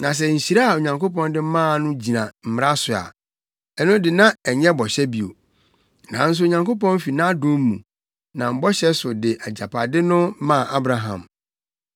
Na sɛ nhyira a Onyankopɔn de maa no gyina Mmara so a, ɛno de na ɛnyɛ bɔhyɛ bio. Nanso Onyankopɔn fi nʼadom mu, nam bɔhyɛ so de agyapade no maa Abraham.